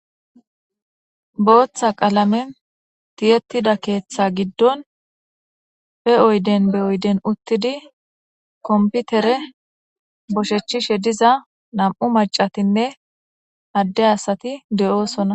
Booththa qalamen tiyettida keeththa giddon pe oyden be oyden uttidi komputere boshechishe diza nam'u macatinne adde asati de'oosona